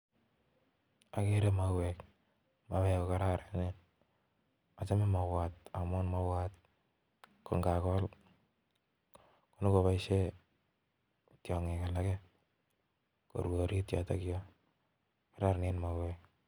Okere mauek mauek kokororonen ochome mauwat amun mauwat koinakol nyokoboishen tiongik alake korue orit yoton yon kororonen mauwek